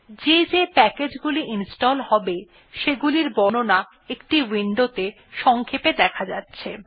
যে যে প্যাকেজ গুলি ইনস্টল হবে সেগুলির বর্ণনা একটি উইন্ডোত়ে সংক্ষেপে দেখা যাচ্ছে